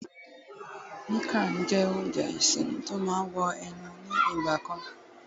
miang Khan jé ounjẹ isinu tí o ma wo ẹnu ni igba kan